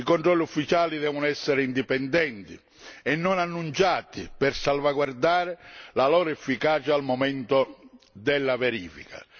I controlli ufficiali devono essere indipendenti e non annunciati per salvaguardare la loro efficacia al momento della verifica.